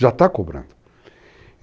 Já está cobrando.